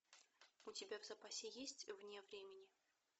у тебя в запасе есть вне времени